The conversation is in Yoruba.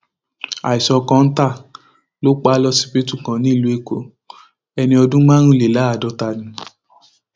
àìsàn kọńtà ló pa á lọsibítù kan nílùú èkó ẹni ọdún márùnléláàádọta ni